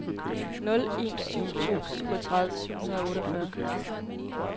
nul en syv to syvogtredive syv hundrede og otteogfyrre